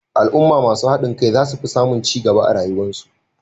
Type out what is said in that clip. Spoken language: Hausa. Al'umma masu hadin kai zasu fi samun cigaba a rayuwar su